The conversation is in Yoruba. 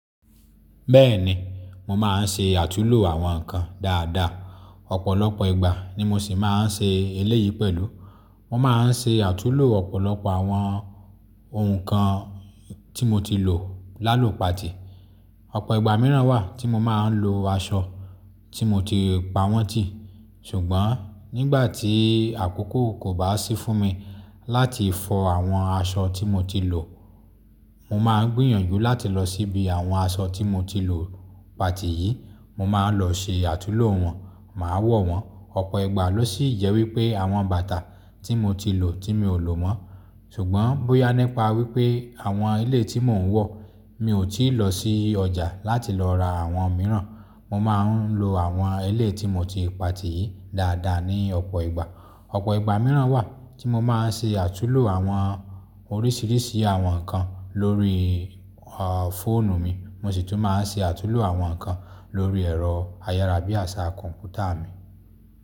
Bẹ́ẹ̀ni, mo máa ń ṣe àtunlò àwọn nǹkan dáadáa. Ọ̀pọ̀lọpọ̀ ìgbà ni mo sì máa ń ṣe eléyìí pẹ̀lú. Mo máa ń ṣe àtunlò ọ̀pọ̀lọpọ̀ àwọn ohun kan tí mo ti lò lálò patì. Ọ̀pọ̀ ìgbà mìíràn wà tí mo máa ń lo aṣọ tí mo ti pa wọ́n tì. Ṣùgbọ́n nígbà tí àkókò kò bá sí fún mi láti fọ àwọn aṣọ tí mo ti lò, mo máa ń gbìyànjú láti lọ síbi àwọn aṣọ tí mo ti lò patì yìí, mo máa lọ ṣe àtunlò wọ́n, màá wọ̀ wọ́n. Ọ̀pọ̀ ìgbà ló sì jẹ́ wípé àwọn bàtà tí mo ti lò tí mi ò lò mọ́. Ṣùgbọ́n bóyá nípa wípé àwọn eléyìí tí mò ń wọ̀, mi ò tí ì lọ sí ọjà láti lọ ra àwọn mìíràn. Mo máa ń lo àwọn eléyìí tí mo ti patì yìí dáadáa ní ọ̀pọ̀ ìgbà. Ọ̀pọ̀ ìgbà mìíràn wà tí mo máa ń ṣe àtunlò àwọn oríṣiríṣi àwọn nǹkan lórí, a, fóònù mi, mo sì tún máa ń ṣe àtulò àwọn nǹkan lórí ẹ̀rọ ayárabíàṣá kọ̀m̀pútà mi.